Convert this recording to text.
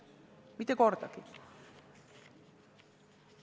Mitte kordagi!